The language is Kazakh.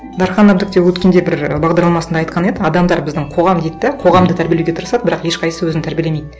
дархан әбдік те өткенде бір бағдарламасында айтқан еді адамдар біздің қоғам дейді де қоғамды тәрбиелеуге тырысады бірақ ешқайсысы өзін тәрбиелемейді